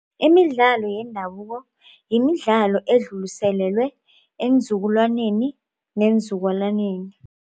Imidlalo yendabuko yimidlalo ekudluliselelwe eenzukulwaneni neenzukulwaneni.